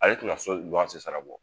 Ale tɛna so luwanse sara bɔ.